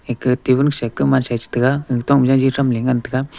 ikheh table kusa kuma sa a chi taiga ga tok ma jaji thamley ngan taiga.